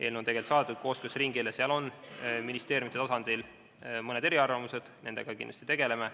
Eelnõu on saadetud kooskõlastusringile, ministeeriumidel on mõned eriarvamused, nendega me kindlasti tegeleme.